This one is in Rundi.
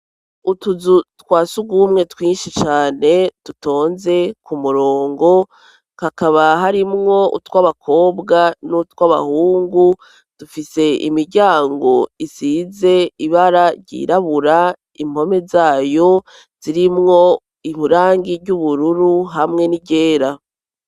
Utuzu twa surwumwe twinshi cane dutonze ku murongo kakaba harimwo utw'abakobwa n'utw'abahungu dufise imiryango isize ibara ryirabura impome zayo zirimwo irangi ry'ubururu hamwe n'iryera.